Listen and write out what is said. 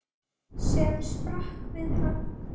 sem sprakk við högg.